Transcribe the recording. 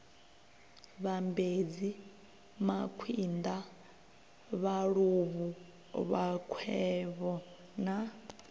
vhambedzi makwinda vhaluvhu vhakwevho na